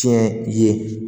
Tiɲɛ ye